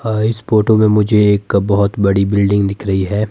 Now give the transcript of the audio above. आ इस फोटो में मुझे एक का बहोत बड़ी बिल्डिंग दिख रही है।